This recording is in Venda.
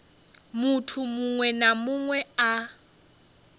munthu muṅwe na muṅwe a